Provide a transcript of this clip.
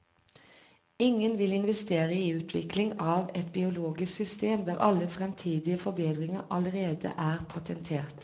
Ingen vil investere i utvikling av et biologisk system der alle fremtidige forbedringer allerede er patentert.